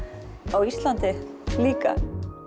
á Íslandi líka